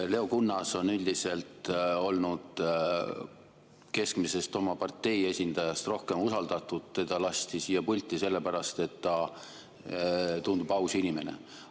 Leo Kunnas on üldiselt olnud oma partei keskmisest esindajast rohkem usaldatud, teda lasti siia pulti sellepärast, et ta tundub olevat aus inimene.